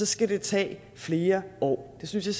skal det tage flere år det synes jeg